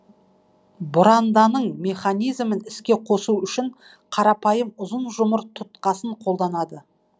бұранданың механизмін іске қосу үшін қарапайым ұзын жұмыр тұтқасын қолданады